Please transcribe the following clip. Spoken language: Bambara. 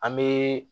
An bɛ